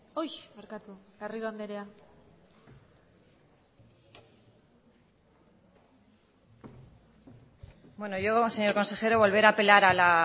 bueno yo señor consejero volver a apelar a